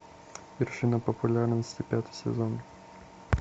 вершина популярности пятый сезон